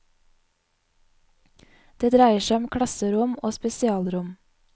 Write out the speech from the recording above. Det dreier seg om klasserom og spesialrom.